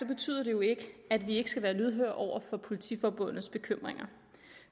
betyder det jo ikke at vi ikke skal være lydhøre over for politiforbundets bekymringer